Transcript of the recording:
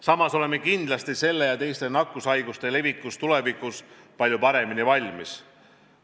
Samas oleme kindlasti selle haiguse ja teiste nakkushaiguste levikuks tulevikus palju paremini valmis.